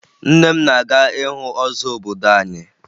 Nne m na-aga ịhụ ọzọ obodo anyị